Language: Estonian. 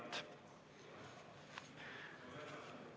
Kohaloleku kontroll.